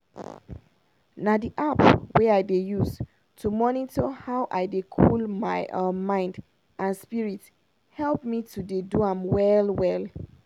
na d app wey i dey use to monitor how i dey cool my um mind and spirit help me to dey do am well well.